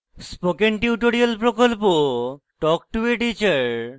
spoken tutorial প্রকল্প talk to a teacher প্রকল্পের অংশবিশেষ